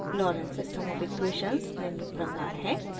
lorenz system of equations निम्न प्रकार है: